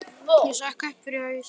Ég sökk upp fyrir haus.